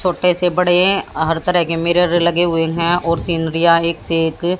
छोटे से बड़े हर तरह के मिरर लगे हुए हैं और सिनरियां एक से एक--